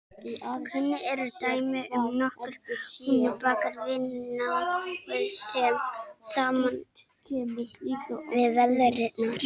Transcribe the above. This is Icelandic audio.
Kunn eru dæmi um að nokkrir hnúfubakar vinni náið saman við veiðarnar.